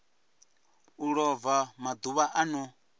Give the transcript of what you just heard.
a lova maḓuvha a no